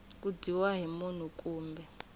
ku dyiwa hi munhu kumbe